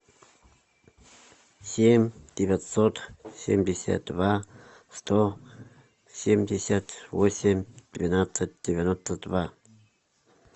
семь девятьсот семьдесят два сто семьдесят восемь двенадцать девяносто два